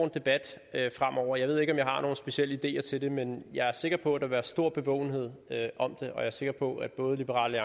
debat fremover jeg ved ikke om jeg har nogle specielle ideer til det men jeg er sikker på at der vil være stor bevågenhed om det og jeg er sikker på at både liberal